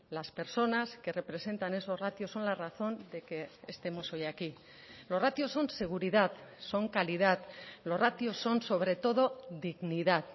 las personas que representan esos ratios son la razón de que estemos hoy aquí los ratios son seguridad son calidad los ratios son sobre todo dignidad